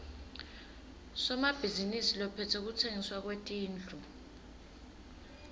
somabhizinisi lophetse kutsengiswa kwetindlu